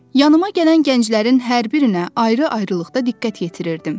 Yanıma gələn gənclərin hər birinə ayrı-ayrılıqda diqqət yetirirdim.